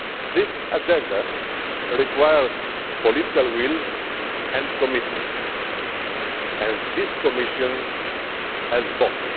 This agenda requires political will and commitment, and this Commission has both.